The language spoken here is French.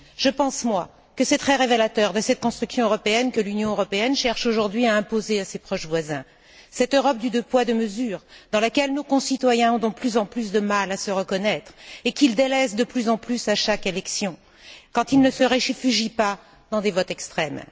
Je pense moi que c'est très révélateur de cette construction européenne que l'Union européenne cherche à imposer à ses proches voisins, cette Europe du deux poids et deux mesures dans laquelle nos concitoyens ont de plus en plus de mal à se reconnaître et qu'ils délaissent de plus en plus à chaque élection, quand ils ne se réfugient pas dans des votes extrêmes.